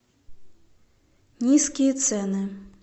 низкие цены